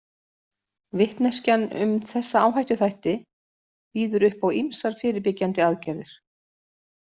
Vitneskjan um þessa áhættuþætti býður upp á ýmsar fyrirbyggjandi aðgerðir.